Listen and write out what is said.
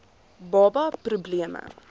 baba pro bleme